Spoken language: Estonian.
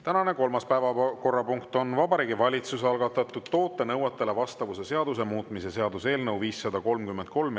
Tänane kolmas päevakorrapunkt on Vabariigi Valitsuse algatatud toote nõuetele vastavuse seaduse muutmise seaduse eelnõu 533.